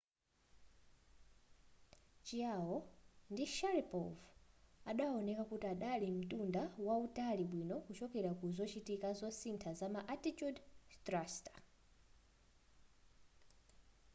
chiao ndi sharipov adaoneka kuti adali mtunda wautali bwino kuchokera ku zochitika zosintha zama attitude thruster